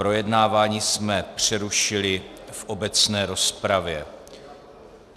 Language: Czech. Projednávání jsme přerušili v obecné rozpravě.